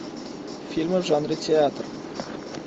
фильмы в жанре театр